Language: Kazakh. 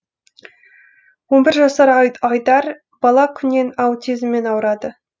он бір жасар айдар бала күннен аутизммен ауырады